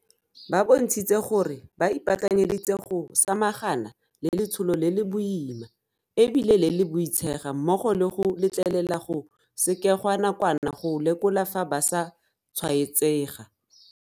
Ba bontshitse gore ba ipaakanyeditse go samagana le letsholo le le boima e bile le boitshega mmogo le go letlelela go sekegwa nakwana go lekola fa ba sa tshwaetsega.